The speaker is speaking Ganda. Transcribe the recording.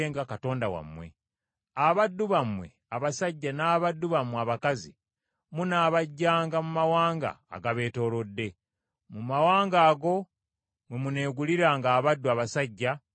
Abaddu bammwe abasajja n’abaddu bammwe abakazi munaabaggyanga mu mawanga agabeetoolodde, mu mawanga ago mwe muneeguliranga abaddu abasajja n’abaddu abakazi.